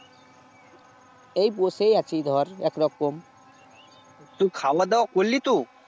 এই বসেই আছি ধর একরকম তুই খাওয়া দাওয়া করলি এখন